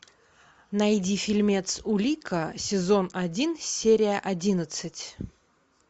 найди фильмец улика сезон один серия одиннадцать